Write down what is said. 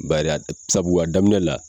Bari a sabu a daminɛ la.